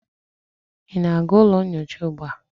ị na-aga ụlọ nyocha ugbu a?